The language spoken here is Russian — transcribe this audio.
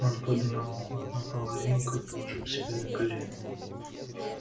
он поднял одну половинку и положил себе на колено